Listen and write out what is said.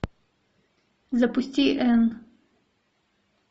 запусти энн